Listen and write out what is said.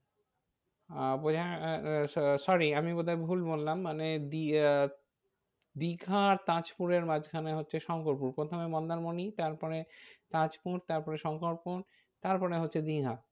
আহ বোঝা sorry আমি বোধ হয় ভুল বললাম মানে আহ দীঘা আর তাজপুরের মাঝখানে হচ্ছে শঙ্করপুর। প্রথমে মন্দারমণি তারপরে তাজপুর তারপরে শঙ্করপুর তারপরে হচ্ছে দীঘা।